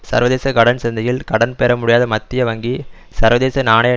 சர்வதேச கடன் சந்தையில் கடன் பெறமுடியாத மத்திய வங்கி சர்வதேச நாணய